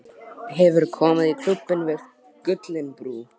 Hefurðu komið í Klúbbinn við Gullinbrú?